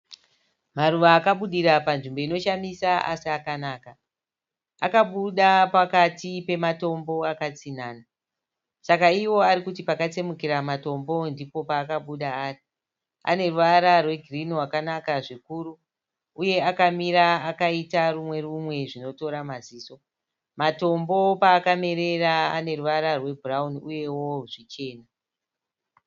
Maruva akabudira panzvimbo inoshamisa asi akanaka. Akabuda pakati pematombo akatsinhana. Saka iwo ari kuti pakatsemukira matombo ndipo paakabuda ari. Ane ruvara rwegirnhi rwakanaka zvikuru uye akamira akaita rumwe rumwe zvinotora maziso. Matombo paakamerera ane ruvara rwebhurarauni uyewo zvichena.